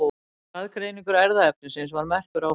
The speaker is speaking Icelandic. Raðgreining erfðaefnisins var merkur áfangi.